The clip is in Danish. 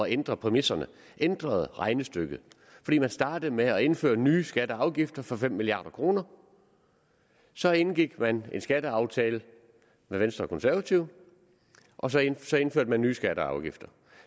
ændre præmisserne ændrede regnestykket fordi man startede med at indføre nye skatter og afgifter for fem milliard kroner så indgik man en skatteaftale med venstre og konservative og så indførte man nye skatter og afgifter